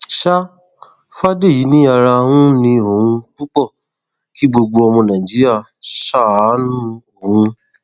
sá fàdèyí ni ara ń ni òun púpọ kí gbogbo ọmọ nàìjíríà ṣàánú òun